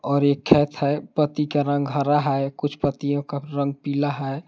और एक खेत है पत्ती का रंग हरा है कुछ पत्तियों का रंग पीला है।